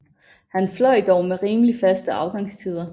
Han fløj dog med rimelig faste afgangstider